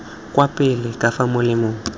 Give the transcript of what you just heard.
kwa pele ka fa molemeng